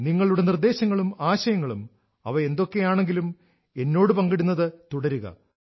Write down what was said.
നിങ്ങളുടെ നിർദ്ദേശങ്ങളും ആശയങ്ങളും അവ എന്തൊക്കെയാണെങ്കിലും എന്നോട് പങ്കിടുന്നത് തുടരുക